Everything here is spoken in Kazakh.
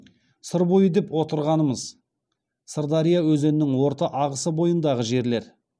сыр бойы деп отырғанымыз сырдария өзенінің орта ағысы бойындағы жерлер